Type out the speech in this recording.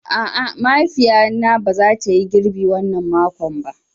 A'a, mahaifiya na ba za ta Yi girbi wanna mako.